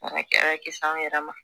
O de kɛra kisi an yɛrɛ ma